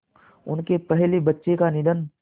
उनके पहले बच्चे का निधन